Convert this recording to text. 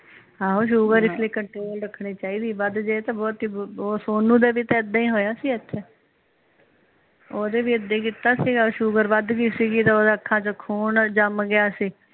ਆਹੋ ਸ਼ੂਗਰ ਇਸ ਲਈ ਕੰਟਰੋਲ ਰੱਖਣੀ ਚਾਹੀਦੀ ਵੱਧ ਜੇ ਦੇ ਵੀ ਏਦਾਂ ਹੀ ਹੋਇਆ ਸੀ ਇਥੇ ਓਹਦੇ ਵੀ ਏਦਾਂ ਹੀ ਕੀਤਾ ਸੀਗਾ ਸ਼ੂਗਰ ਵੱਧ ਗੀ ਸੀਗੀ ਤੇ ਓਹਦੇ ਅੱਖਾਂ ਚ ਖੋਂ ਜਮ ਗਿਆ ਸੀ